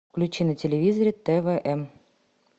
включи на телевизоре твм